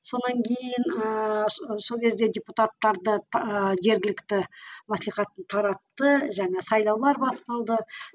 содан кейін ыыы сол кезде депутаттарды жергілікті мааслихатын таратты және сайлаулар басталды